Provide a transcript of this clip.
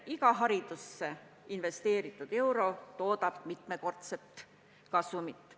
Iga haridusse investeeritud euro toodab mitmekordset kasumit.